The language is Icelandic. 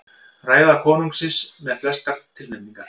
Ræða konungsins með flestar tilnefningar